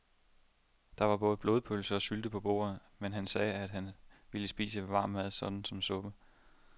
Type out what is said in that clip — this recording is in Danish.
Der var både blodpølse og sylte på bordet, men han sagde, at han bare ville spise varm mad såsom suppe.